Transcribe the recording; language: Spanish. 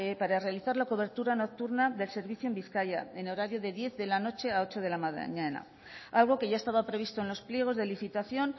para realizar la cobertura nocturna del servicio en bizkaia en horario de diez de la noche a ocho de la mañana algo que ya estaba previsto en los pliegos de licitación